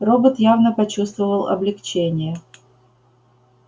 робот явно почувствовал облегчение